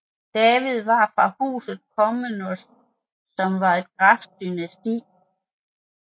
David var fra Huset Komnenos som var et græsk dynasti